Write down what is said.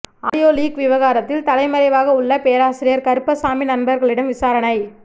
audio leak விவகாரத்தில் தலைமறைவாக உள்ள பேராசிரியர் கருப்பசாமி நண்பர்களிடம் விசாரணை